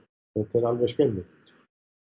er alveg skelfilegt